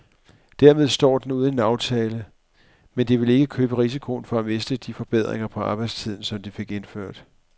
Dermed står de uden en aftale, men de vil ikke løbe risikoen for at miste de forbedringer på arbejdstiden, som de fik indført.